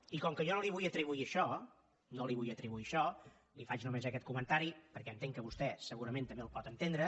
i com que jo no li vull atribuir això no li vull atribuir això li faig només aquest comentari perquè entenc que vostè segurament també el pot entendre